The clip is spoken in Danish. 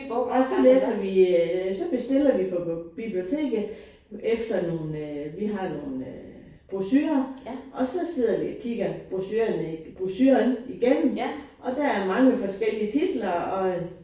Og så læser vi øh så bestiller vi på biblioteket efter nogle øh vi har nogle øh brochurer og så sidder vi og kigger brochurerne brochuren igennem og der er mange forskellige titler og øh